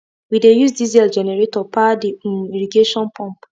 we dey use diesel generator power the um irrigation pump